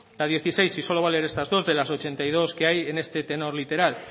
la dieciséis y solo voy a leer estas dos de las ochenta y dos que hay en este tenor literal